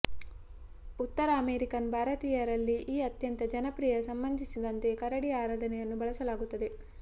ಉತ್ತರ ಅಮೆರಿಕನ್ ಭಾರತೀಯರಲ್ಲಿ ಈ ಅತ್ಯಂತ ಜನಪ್ರಿಯ ಸಂಬಂಧಿಸಿದಂತೆ ಕರಡಿ ಆರಾಧನೆಯನ್ನು ಬಳಸಲಾಗುತ್ತದೆ